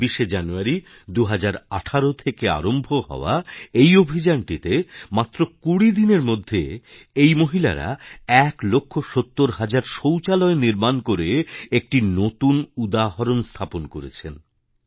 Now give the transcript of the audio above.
২৬শে জানুয়ারি ২০১৮ থেকে আরম্ভ হওয়া এই অভিযানটিতে মাত্র ২০ দিনের মধ্যে এই মহিলারা ১ লক্ষ ৭০ হাজার শৌচালয় নির্মাণ করে একটি নতুন উদাহরণ স্থাপন করেছেন